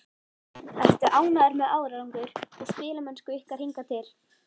Ertu ánægður með árangur og spilamennsku ykkar hingað til?